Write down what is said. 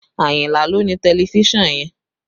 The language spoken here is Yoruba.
Ayinla ló ni tẹlifísàn yẹn